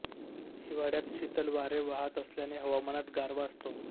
हिवाळ्यात शीतल वारे वाहत असल्याने हवामानात गारवा असतो